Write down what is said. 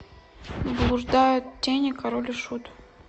блуждают тени король и шут